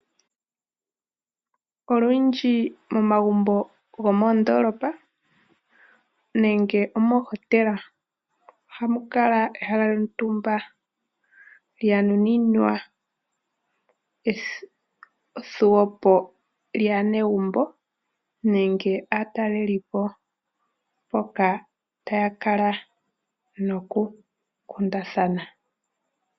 Olundji momagumbo gomoondolopa nenge mohotela ohamu kala ehala lyontumba , lyanuninwa ethuwepo lyaanegumbo nenge lyaatalelipo mpoka taya kala nokukundathana.